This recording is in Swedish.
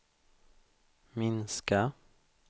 minska